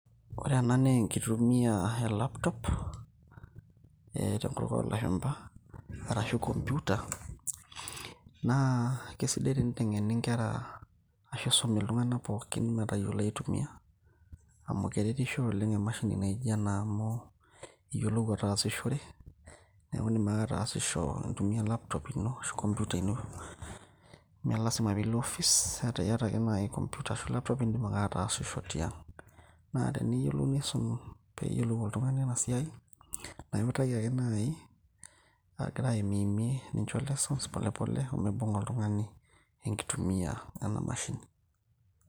Ore ena naa enkitumia e laptop, eh tenkutuk olashumpa, arashu computer, na kesidai teninteng'eni nkera ashu isumi iltung'anak pookin metayiolo aitumia. Amu keretisho oleng' emashini naijo ena amu, iyiolou ataasishore, neku idim ake ataasisho intumia laptop ino ashu computer ino. Me lasima pilo ofis ata iyata ake nai computer ashu laptop, idim ake ataasisho tiang'. Na teneyiolou nisum, peyiolou oltung'ani enasiai, na iutaki ake nai, agira aimiimie nincho lessons polepole, omibung'a oltung'ani enkitumia ena mashini.